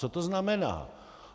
Co to znamená?